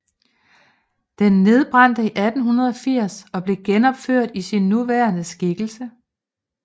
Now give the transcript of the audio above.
Den nedbrændte i 1880 og blev genopført i sin nuværende skikkelse